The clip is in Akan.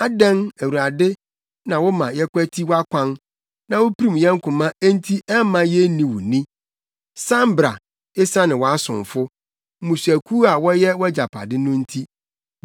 Adɛn, Awurade, na woma yɛkwati wʼakwan na wupirim yɛn koma enti ɛmma yenni wo ni? San bra, esiane wʼasomfo, mmusuakuw a wɔyɛ wʼagyapade no nti.